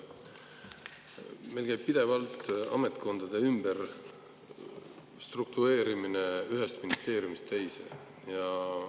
Meil käib pidevalt ametkondade ümberstruktureerimine ühest ministeeriumist teise.